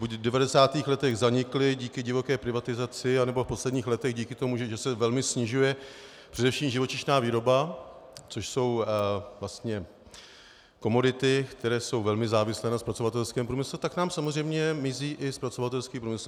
Buď v 90. letech zanikly díky divoké privatizaci, nebo v posledních letech díky tomu, že se velmi snižuje především živočišná výroba, což jsou vlastně komodity, které jsou velmi závislé na zpracovatelském průmyslu, tak nám samozřejmě mizí i zpracovatelský průmysl.